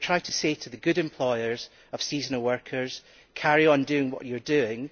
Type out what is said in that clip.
We have tried to say to the good employers of seasonal workers carry on doing what you are doing.